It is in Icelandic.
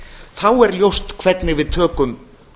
þá er ljóst hvernig við tökum